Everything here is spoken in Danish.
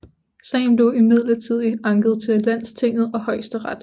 Sagen blev imidlertid anket til landstinget og højesteret